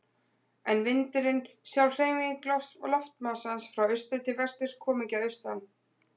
En vindurinn, sjálf hreyfing loftmassans frá austri til vesturs, kom ekki að austan.